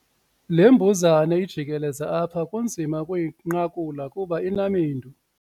Le mbuzane ijikeleza apha kunzima ukuyinqakula kuba inamendu.